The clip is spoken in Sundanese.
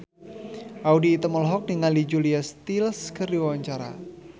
Audy Item olohok ningali Julia Stiles keur diwawancara